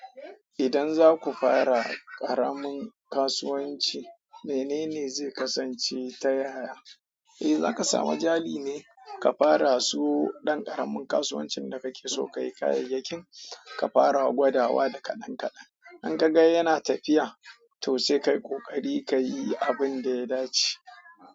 Idan zaku fara ƙaramin kasuwanci, menene zai kasance ta yaya? Eh za ka samu jari ne ka fara so ɗan ƙaramin kasuwancin da kake so ka yi kayayyakin, ka fara gwadawa da kaɗan kaɗan. In ka ga yana tafiya, to sai ka yi ƙoƙari ka yi abin da ya dace.